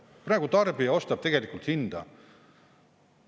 Praegu tarbija ostab tegelikult hinda.